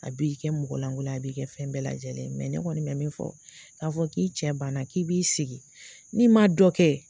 A b'i kɛ mɔgɔlankolo ye, a b'i kɛ fɛn bɛɛ lajɛlen ne kɔni mɛ min fɔ, k'a fɔ k'i cɛ banna k'i b'i sigi, n'i ma dɔ kɛ